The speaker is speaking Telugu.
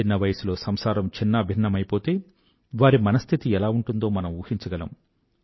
చిన్న వయసులో సంసారం ఛిన్నాభిన్నమయిపోతే వారి మనస్థితి ఎలా ఉంటుందో మనం ఊహించగలం